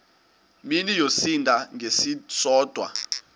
mini yosinda ngesisodwa